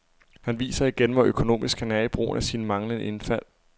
Han viser igen, hvor økonomisk han er i brugen af sine mange indfald.